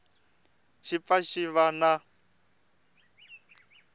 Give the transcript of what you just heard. xi pfa xi va na